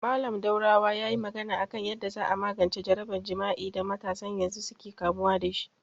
Mallam Daurawa yayi magana a kan yanda za a magance jaraban jima'i da matasan yanzu suka kamu dashi